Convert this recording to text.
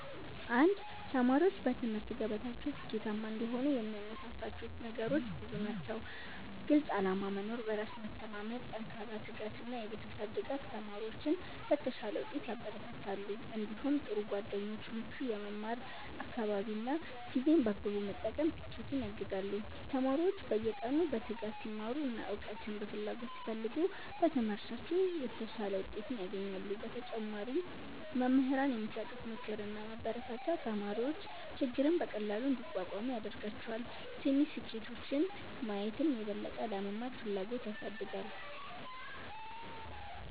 1ተማሪዎች በትምህርት ገበታቸው ስኬታማ እንዲሆኑ የሚያነሳሳቸው ነገሮች ብዙ ናቸው። ግልፅ ዓላማ መኖር፣ በራስ መተማመን፣ ጠንካራ ትጋት እና የቤተሰብ ድጋፍ ተማሪዎችን ለተሻለ ውጤት ያበረታታሉ። እንዲሁም ጥሩ ጓደኞች፣ ምቹ የመማር አካባቢ እና ጊዜን በአግባቡ መጠቀም ስኬትን ያግዛሉ። ተማሪዎች በየቀኑ በትጋት ሲማሩ እና እውቀትን በፍላጎት ሲፈልጉ በትምህርታቸው የተሻለ ውጤት ያገኛሉ። በተጨማሪም መምህራን የሚሰጡት ምክርና ማበረታቻ ተማሪዎች ችግርን በቀላሉ እንዲቋቋሙ ያደርጋቸዋል። ትንሽ ስኬቶችን ማየትም የበለጠ ለመማር ፍላጎት ያሳድጋል።